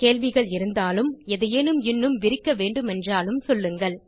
கேள்விகள் இருந்தாலும் எதையேனும் இன்னும் விரிக்க வேண்டுமென்றாலும் சொல்லுங்கள்